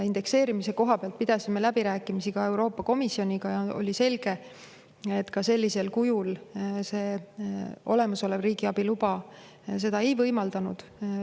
Indekseerimise koha pealt pidasime läbirääkimisi ka Euroopa Komisjoniga ja oli selge, et sellisel kujul olemasolev riigiabiluba seda ei võimaldanud.